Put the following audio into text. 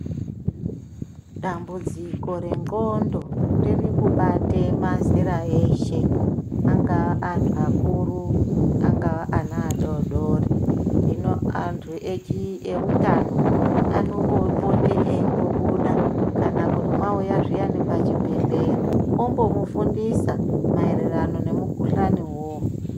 Dambudziko rendxondo ririkubate mazera eshe angaa anhu akuru, angaa ana adodori hino antu eutano anombopote eimbobuda kana kuti mwauya zviyani pachibhedhleya ombomufundisa maererano nemukhuhlani uwowo.